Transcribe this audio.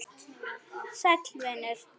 Sæll vinur